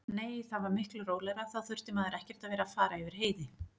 Nei, það var miklu rólegra, þá þurfti maður ekkert að vera að fara yfir heiði.